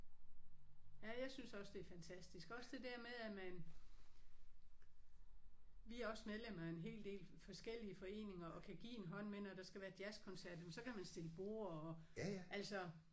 Ja jeg synes også det er fantastisk også det der med at man vi er også medlem af en hel del forskellige foreninger og kan give en hånd med når der skal være jazzkoncert jamen så kan man stille borde og altså